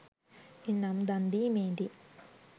එනම් දන් දීමේදී